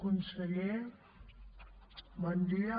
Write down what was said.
conseller bon dia